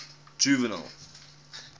juvenal